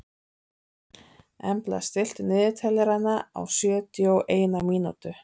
Embla, stilltu niðurteljara á sjötíu og eina mínútur.